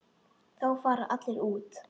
Þá fara allir út.